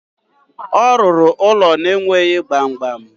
Ọ rụrụ ụlọ na-enweghi gbamgbam.